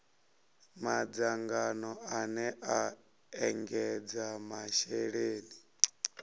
madzangano ane a ekedza masheleni